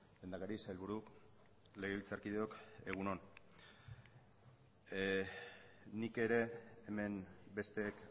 lehendakari sailburu legebiltzarkideok egun on nik ere hemen besteek